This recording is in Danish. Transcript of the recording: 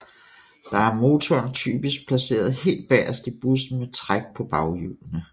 Der er motoren typisk placeret helt bagest i bussen med træk på baghjulene